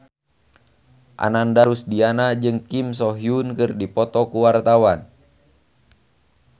Ananda Rusdiana jeung Kim So Hyun keur dipoto ku wartawan